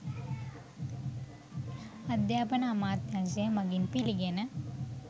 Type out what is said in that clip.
අධ්‍යාපන අමාත්‍යංශය මගින් පිළිගෙන